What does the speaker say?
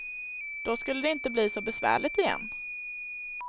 Då skulle det inte bli så besvärligt igen.